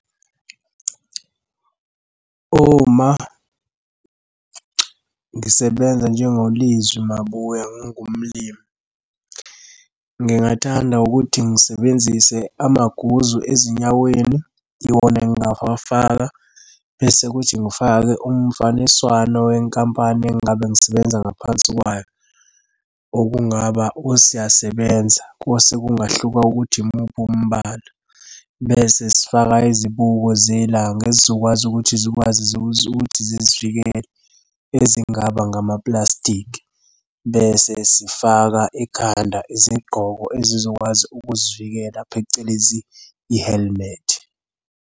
Uma ngisebenza njengo Lizwi Mabebuya ngingumlimi, ngingathanda ukuthi ngisebenzise amaguzu ezinyaweni, iwona engingawafaka, bese kuthi ngifake umfaniswano wenkampani engingabe ngisebenza ngaphansi kwayo. Okungaba usiyasebenza osekungahluka ukuthi imuphi umbala. Bese sifaka izibuko zelanga ezizokwazi ukuthi zikwazi ukuthi zizivikele ezingaba ngamapulasitiki bese sifaka ekhanda izigqoko ezizokwazi ukuzivikela phecelezi i-helmet.